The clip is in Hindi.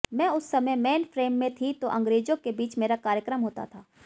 मैं उस समय मेन फ़्रेम में थी तो अंग्रेज़ों के बीच मेरा कायर्क्रम होता था